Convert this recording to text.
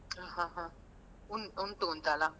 ಹ ಹ ಹಾ ಉಂ~ ಉಂಟು ಅಂತಲ್ಲ.